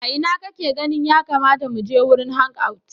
A ina kake ganin ya kamata mu je wurin hangout?